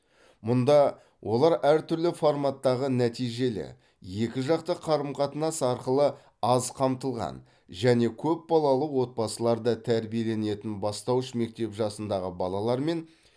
мұнда олар әртүрлі форматтағы нәтижелі екіжақты қарым қатынас арқылы аз қамтылған және көпбалалы отбасыларда тәрбиеленетін бастауыш мектеп жасындағы балалар мен